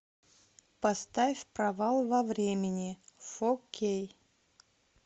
поставь провал во времени фо кей